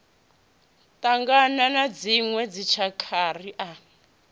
ṱangana na dziṋwe dzitshakha ri